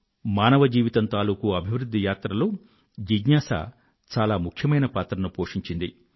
మానవజీవితం తాలూకూ అభివృధ్ధి యాత్రలో జిజ్ఞాస చాలా ముఖ్యమైన పాత్రను పోషించింది